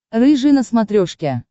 рыжий на смотрешке